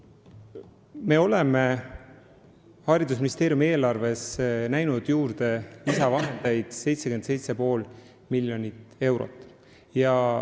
Me oleme haridusministeeriumi eelarves näinud ette lisavahendeid 77,5 miljonit eurot.